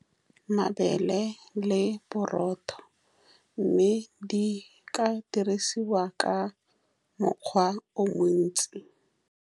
Mabele le borotho, mme di ka dirisiwa ka mokgwa o montsi.